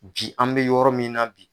Bi an be yɔrɔ min na bi